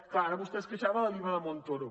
clar ara vostè es queixava de l’iva de montoro